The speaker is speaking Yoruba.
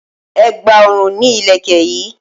Ẹ̀gbà ọrùn ni Ìlẹ̀kẹ̀ yi